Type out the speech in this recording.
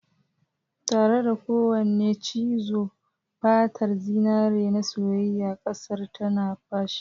Tare da kowane cizo, fatar zinare na soyayyen kazar tana fashe.